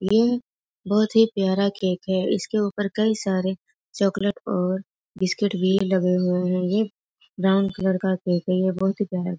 ई बहुत ही प्यारा केक है इसके ऊपर कई सारे चोकलेट और बिस्किट भी लगे हुए हुए है ये ब्राउन कलर का केक है ये बहुत ही प्यारा केक है।